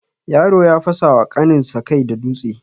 Yaro ya fasawa ƙanin sa kai da dutse.